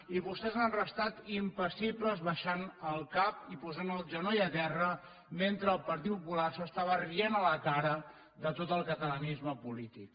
i vostès han restat impassibles abaixant el cap i posant el genoll a terra mentre el partit popular s’estava rient a la cara de tot el catalanisme polític